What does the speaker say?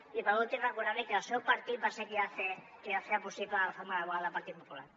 i per últim recordar li que el seu partit va ser qui va fer possible la reforma laboral del partit popular